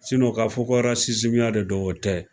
ka fɔ ko ya de don o tɛ.